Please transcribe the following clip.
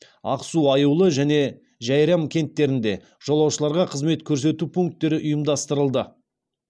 ақсу аюлы және жәйрем кенттерінде жолаушыларға қызмет көрсету пункттері ұйымдастырылды